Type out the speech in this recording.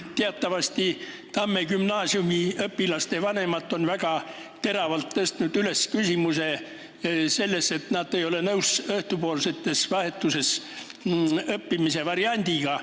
Teatavasti on Tamme gümnaasiumi õpilaste vanemad väga teravalt tõstnud üles küsimuse, et nad ei ole nõus laste õhtupoolses vahetuses õppimise variandiga.